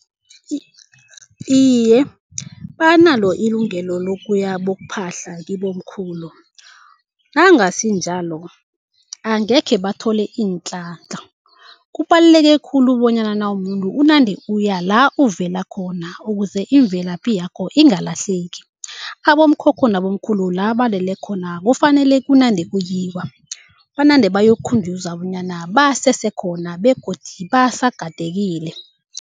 Iye, banalo ilungelo lokuya bokuphahla kibomkhulu. Nangasinjalo, angekhe bathole iinhlanhla. Kubaluleke khulu bonyana nawumuntu unande uya la uvela khona ukuze imvelaphi yakho ingalahleki. Amkhokho nabomkhulu la balele khona kufanele kunande kuyiwa, banande bayokukhunjuzwa bonyana basesekhona begodi basagadekile.